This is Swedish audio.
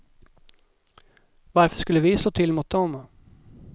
Varför skulle vi slå till mot dem?